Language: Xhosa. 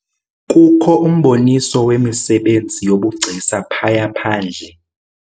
Kukho umboniso wemisebenzi yobugcisa phaya phandle.